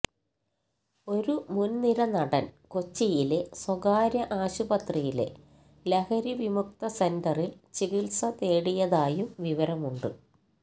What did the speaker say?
ഒരു മുൻനിര നടൻ കൊച്ചിയിലെ സ്വകാര്യ ആശുപത്രിയിലെ ലഹരിവിമുക്ത സെന്ററിൽ ചികിത്സ തേടിയതായും വിവരമുണ്ട്